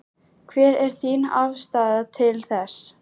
Hver er þín afstaða til þess?